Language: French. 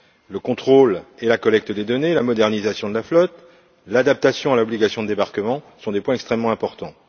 Le contrôle et la collecte des données, la modernisation de la flotte, l'adaptation à l'obligation de débarquement sont des points extrêmement importants.